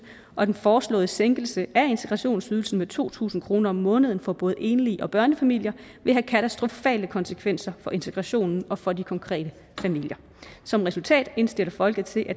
og den foreslåede sænkelse af integrationsydelsen med to tusind kroner om måneden for både enlige og børnefamilier vil have katastrofale konsekvenser for integrationen og for de konkrete som resultat indstiller folketinget